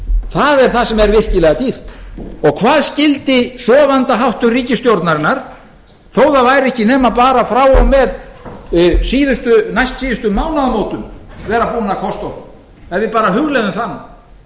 það er það sem er virkilega dýrt og hvað skyldi sofandaháttur ríkisstjórnarinnar þó það væri ekki nema bara frá og með næstsíðustu mánaðamótum vera búin að kosta okkur ef við bara hugleiðum það nú